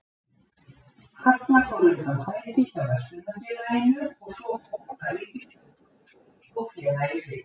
Halla fór undan fæti hjá verslunarfélaginu og svo fór að ríkisstjórn Rússlands tók félagið yfir.